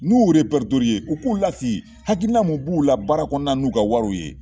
N'u y'u u k'u lasigi hakilina min b'u la baara kɔnɔna na n'u ka wariw ye